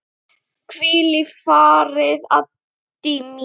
Hvíl í friði, Addý mín.